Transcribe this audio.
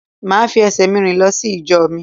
Màá fi esè mi rìn lọ sí ìjọ mi